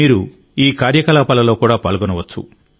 మీరు ఈ కార్యకలాపాలలో కూడా పాల్గొనవచ్చు